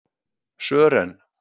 Sören